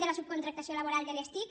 de la subcontractació laboral de les tic